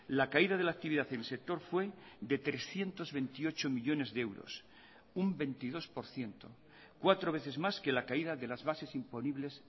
la caída de la actividad y el sector fue de trescientos veintiocho millónes de euros un veintidós por ciento cuatro veces más que la caída de las bases imponibles